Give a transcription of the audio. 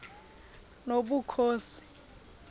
nobukhosi